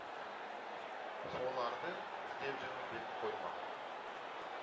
солар ды іздеп жүрмін деп қоймаған